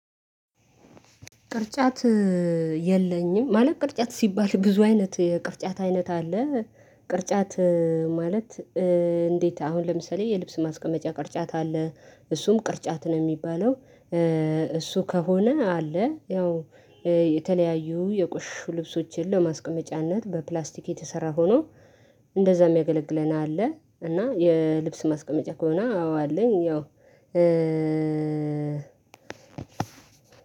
ቅርጫት የለኝም። ማለት ቅርጫት ሲባል ብዙ አይነት የቅርጫት አይነት አለ። ቅርጫት ማለት? እንዴት አሁን ለምሳሌ የልብስ ማስቀመጫ ቅርጫት አለ እሱም ቅርጫት ነው የሚባለው። እሱ ከሆነ አለ ያው የተለያዩ የቆሽሹ ልብሶችን ለማስቀመጫነት በፕላስቲክ የተሰራ ሆኖ እንደዛ የሚያገለግለን አለ። እና የልብስ ማስቀመጫ ከሆነ አዎ አለኝ። ያው